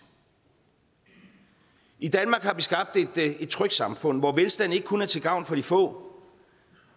i i danmark har vi skabt et trygt samfund hvor velstanden ikke kun er til gavn for de få